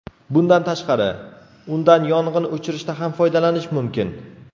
Bundan tashqari, undan yong‘in o‘chirishda ham foydalanish mumkin.